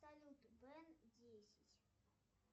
салют бен десять